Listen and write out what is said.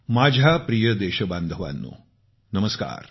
माझ्या प्रिय देशबांधवांनो नमस्कार